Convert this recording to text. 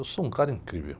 Eu sou um cara incrível.